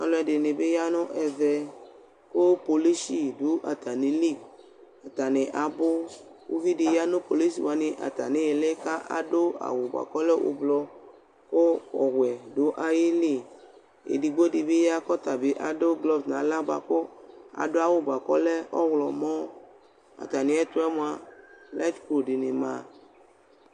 Ɔlʋ ɛdɩnɩ bɩ ya nʋ ɛvɛ, kʋ kpolishɩ dʋ atamɩlɩ Ata nɩ abʋ kʋ uvi dɩ ya nʋ kpolishɩ wanɩ atamɩ ɩlɩ kʋ adʋ aɣ dɩ bʋakʋ ɔlɛ ʋblʋ kʋ ɔwɛ dʋ ayʋ ɩlɩ Edigbo dɩ bɩ ya kʋ ɔta bɩ adʋ blɔg nʋ aɣla bʋa, kʋ adʋ aɣʋ dɩ bʋakʋ ɔlɛ ɔɣlɔmɔ Atamɩ ɛtʋ yɛ mʋa layɩt tsu dɩnɩ ma